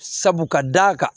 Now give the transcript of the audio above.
Sabu ka d'a kan